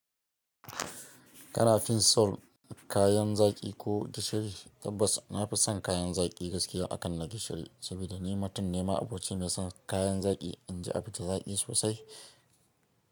Kana fin so kayan zaƙi ko gishiri? Tabbas na fi son kayan zaƙi gaskiya akan na gishiri, saboda ni mutum ne ma'abocin aci mai son kayan zaƙi inji abu tai zaƙi sosai.